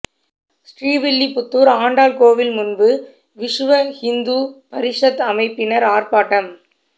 ஸ்ரீவில்லிபுத்தூர் ஆண்டாள் கோவில் முன்பு விசுவ ஹிந்து பரிஷத் அமைப்பினர் ஆர்ப்பாட்டம்